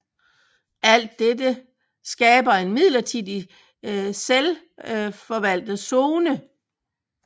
Alt dette skaber en midlertidig selvfovaltet zone